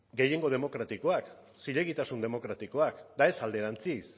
gehiengo demokratikoak zilegitasun demokratikoak eta ez alderantziz